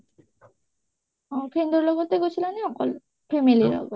friend ৰ লগতে গৈছিলা নে অকলে, family লগত